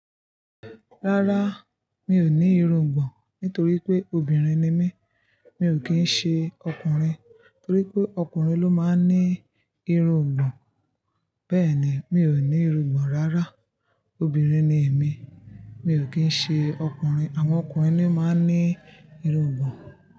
Rárá, mi ò ní irungbọ̀n nítorí pé obìnrin ni mí, mi ò kí ń ṣe ọkùnrin. Nítorí pé ọkùnrin ló máa ń ní irungbọ̀n. Bẹ́ẹ̀ni, mi ò ní irungbọ̀n rárá, obìnrin ni èmi, mi ò kí ń ṣe ọkùnrin. Àwọn ọkùnrin ni máa ń ní irungbọ̀n.